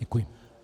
Děkuji.